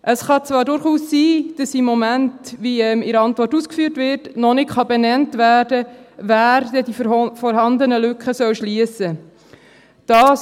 Es kann zwar durchaus sein, dass im Moment – wie in der Antwort ausgeführt wird – noch nicht benannt werden kann, wer diese vorhandenen Lücken denn schliessen soll.